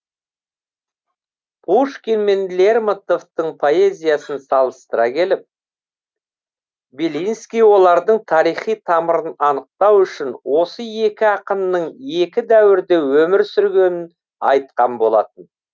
пушкин мен лермонтовтың поэзиясын салыстыра келіп белинский олардың тарихи тамырын анықтау үшін осы екі ақынның екі дәуірде өмір сүргенін айтқан болатын